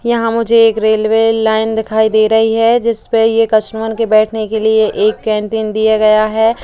यहाँ मुझे एक रेलवे लाइन दिखाई दे रही है। जिस पे ये कस्टमर के बैठने के लिए एक कैंटीन दिया गया है।